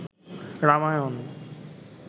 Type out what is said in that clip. Ramayana